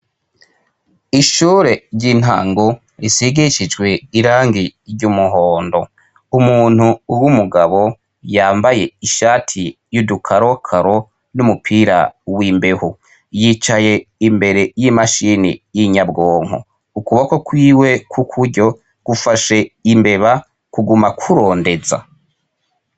Ishure ry'intango risigishijwe irangi ry'umuhondo. Umuntu w'umugabo yambaye ishati y'udukarokaro n'umupira w'imbeho. Yicaye imbere y'imashini y'inyabwonko . Ukuboko kwiwe kw' ukuryo gufashe imbeba kuguma kurondeza.